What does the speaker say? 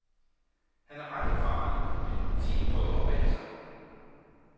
Han er ret erfaren med ti prøver bag sig.